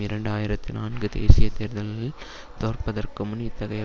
இரண்டு ஆயிரத்தி நான்கு தேசிய தேர்தலில் தோற்பதற்கு முன் இத்தகைய